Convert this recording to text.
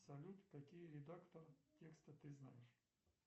салют какие редакторы текста ты знаешь